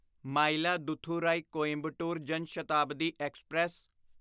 Mayiladuthurai Coimbatore Jan Shatabdi express